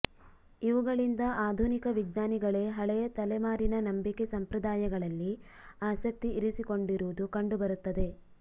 ಇವುಗಳಿಂದ ಆಧುನಿಕ ವಿಜ್ಞಾನಿಗಳೇ ಹಳೆಯ ತಲೆಮಾರಿನ ನಂಬಿಕೆ ಸಂಪ್ರದಾಯಗಳಲ್ಲಿ ಆಸಕ್ತಿ ಇರಿಸಿಕೊಂಡಿರುವದು ಕಂಡು ಬರುತ್ತದೆ